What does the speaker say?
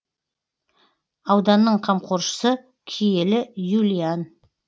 ауданның қамқоршысы киелі юлиан